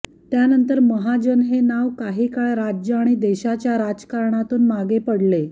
त्यानंतर महाजन हे नाव काही काळ राज्य आणि देशाच्या राजकारणातून मागे पडले